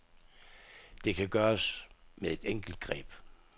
Det kan gøres med et enkelt greb.